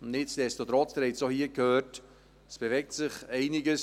Nichtsdestotrotz – sie haben es auch hier gehört – bewegt sich einiges.